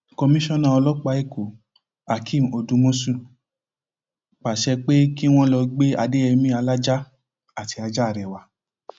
komisanna ọlọpàá ẹkọhakeem odúmọṣù pàṣẹ pé kí wọn lọọ gbé adéyẹmi alájà àti ajá rẹ wá